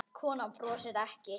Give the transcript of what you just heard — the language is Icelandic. Konan brosir ekki.